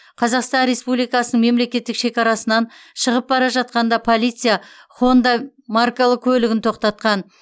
қазақстан республикасының мемлекеттік шекарасынан шығып бара жатқанда полиция хонда маркалы көлігін тоқтатқан